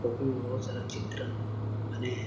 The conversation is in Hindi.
काफी बहुत सारा चित्रण बने हैं।